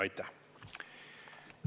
Aitäh!